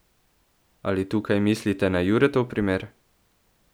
Ali tukaj mislite na Juretov primer?